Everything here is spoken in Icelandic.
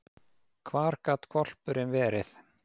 Hvar gat hvolpurinn verið?